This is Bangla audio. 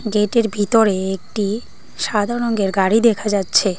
গেটের ভিতরে একটি সাদা রঙ্গের গাড়ি দেখা যাচ্ছে।